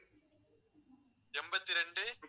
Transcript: எண்பத்தி ரெண்டு